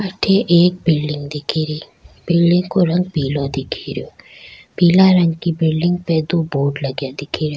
अठे एक बिलडिंग दिखे री बिलडिंग को रंग पिलो दिखे रो पीला रंग की बिलडिंग पे दो बोर्ड लगे दिखे रे।